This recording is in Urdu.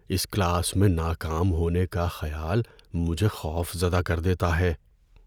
اس کلاس میں ناکام ہونے کا خیال مجھے خوفزدہ کر دیتا ہے۔